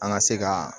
An ka se ka